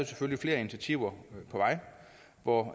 flere initiativer på vej hvoraf